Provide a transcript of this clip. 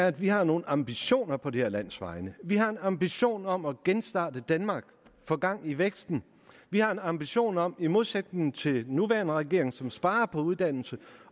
at vi har nogle ambitioner på det her lands vegne vi har en ambition om at genstarte danmark og få gang i væksten vi har en ambition om i modsætning til den nuværende regering som sparer på uddannelse